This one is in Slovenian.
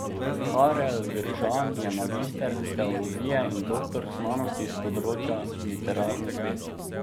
Karel Gržan je magister teologije in doktor znanosti s področja literarnih ved.